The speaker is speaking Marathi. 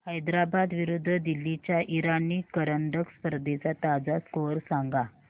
हैदराबाद विरुद्ध दिल्ली च्या इराणी करंडक स्पर्धेचा ताजा स्कोअर सांगा